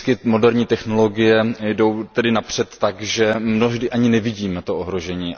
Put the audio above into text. Moderní technologie jdou vždy napřed tak, že mnohdy ani nevidíme ohrožení.